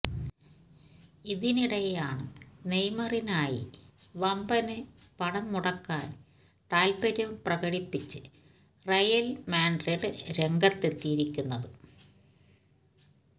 ഇതിനിടെയാണ് നെയ്മറിനായി വമ്പന് പണം മുടക്കാന് താല്പ്പര്യം പ്രകടിപ്പിച്ച് റയല് മാഡ്രിഡ് രംഗത്തെത്തിയിരിക്കുന്നത്